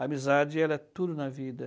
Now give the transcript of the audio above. Amizade ela é tudo na vida.